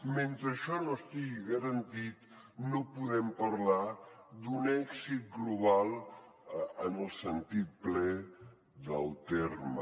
mentre això no estigui garantit no podem parlar d’un èxit global en el sentit ple del terme